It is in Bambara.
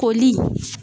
Koli